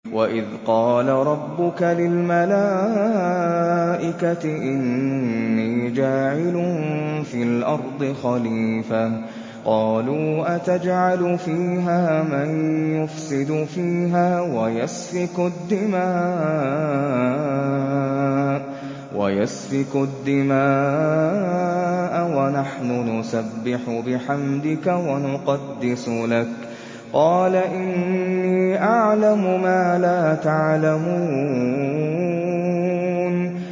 وَإِذْ قَالَ رَبُّكَ لِلْمَلَائِكَةِ إِنِّي جَاعِلٌ فِي الْأَرْضِ خَلِيفَةً ۖ قَالُوا أَتَجْعَلُ فِيهَا مَن يُفْسِدُ فِيهَا وَيَسْفِكُ الدِّمَاءَ وَنَحْنُ نُسَبِّحُ بِحَمْدِكَ وَنُقَدِّسُ لَكَ ۖ قَالَ إِنِّي أَعْلَمُ مَا لَا تَعْلَمُونَ